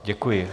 Děkuji.